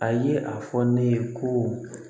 A ye a fɔ ne ye ko